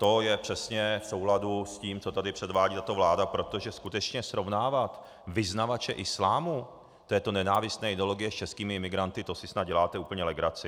To je přesně v souladu s tím, co tady předvádí tato vláda, protože skutečně srovnávat vyznavače islámu, této nenávistné ideologie, s českými imigranty, to si snad děláte úplně legraci.